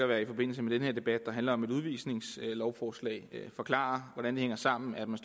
være i forbindelse med den her debat der handler om et udvisningslovforslag forklare hvordan det hænger sammen at man